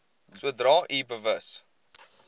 sodra u bewus